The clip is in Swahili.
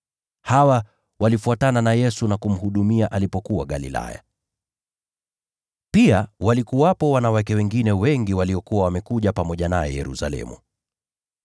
Hawa walifuatana na Yesu na kushughulikia mahitaji yake alipokuwa Galilaya. Pia walikuwepo wanawake wengine wengi waliokuwa wamekuja pamoja naye Yerusalemu.